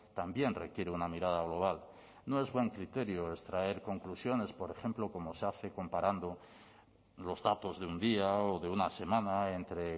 también requiere una mirada global no es buen criterio extraer conclusiones por ejemplo como se hace comparando los datos de un día o de una semana entre